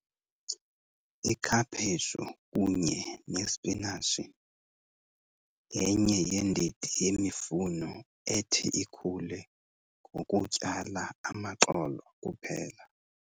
Ikhaphetshu kunye nesipinatshi yenye yeendidi yemifuno ethi ikhule ngokutyala amaxolo kuphela.